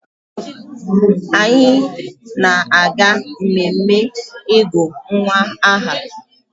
Anyị na-aga mmemme ịgụ nwa aha